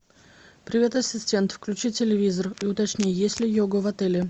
привет ассистент включи телевизор и уточни есть ли йога в отеле